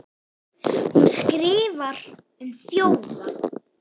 hún skrifar um þjófa